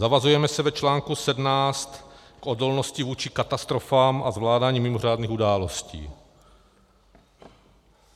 Zavazujeme se v článku 17 k odolnosti vůči katastrofám a zvládání mimořádných událostí.